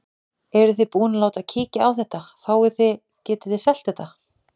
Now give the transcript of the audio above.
Eruð þið búin að láta kíkja á þetta, fáið þið, getið þið selt þetta?